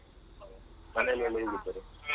ಮನೆಯಲ್ಲಿ ಎಲ್ಲ ಹೇಗಿದ್ದಾರೆ?